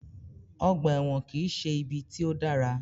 Ọgbà ẹ̀wọ̀n kìí ṣe ibi tí o dára.